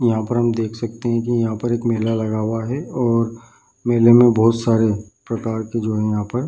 यहाँ पर हम देख सकते हैं की यहाँ पर एक मेला लगा हुआ है और मेला मे बहुत सारे प्रकार के जो हैं यहाँ पर --